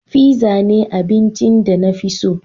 Fizza ne abincin da na fi so.